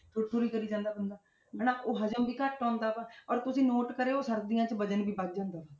ਸੁੜ ਸੁੜ ਹੀ ਕਰੀ ਜਾਂਦਾ ਬੰਦਾ ਹਨਾ, ਉਹ ਹਜਮ ਵੀ ਘੱਟ ਆਉਂਦਾ ਵਾ ਔਰ ਤੁਸੀਂ note ਕਰਿਓ ਸਰਦੀਆਂ 'ਚ ਵਜ਼ਨ ਵੀ ਵੱਧ ਜਾਂਦਾ ਹੈ।